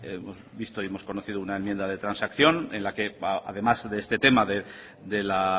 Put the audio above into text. hemos visto y hemos conocido una enmienda de transacción en la que además de este tema de la